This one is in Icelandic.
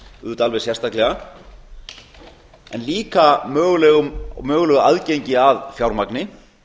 auðvitað alveg sérstaklega en líka mögulegum og mögulegu aðgengi að fjármagni